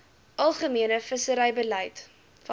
algemene visserybeleid vasgestel